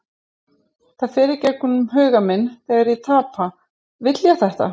Það fer í gegnum huga minn þegar ég tapa, vil ég þetta?